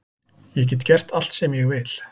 Ég get gert allt sem ég vil.